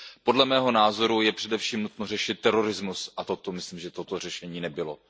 Podle mého názoru je především nutno řešit terorismus a to si myslím, že toto řešení nebylo.